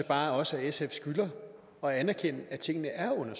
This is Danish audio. bare også at sf skylder at anerkende at tingene